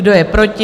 Kdo je proti?